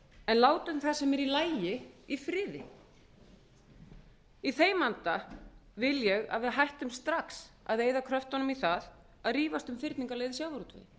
en látum það sem er í lagi í friði í þeim anda vil ég að við hættum strax að eyða kröftunum í það að rífast um fyrningarleið í sjávarútvegi við